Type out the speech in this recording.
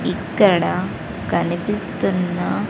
ఇక్కడ కనిపిస్తున్న--